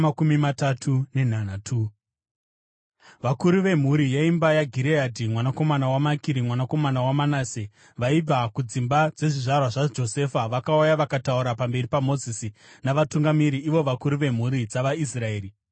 Vakuru vemhuri yeimba yaGireadhi mwanakomana waMakiri, mwanakomana waManase, vaibva kudzimba dzezvizvarwa zvaJosefa, vakauya vakataura pamberi paMozisi navatungamiri, ivo vakuru vemhuri dzavaIsraeri.